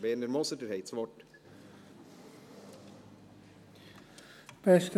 Werner Moser, Sie haben das Wort.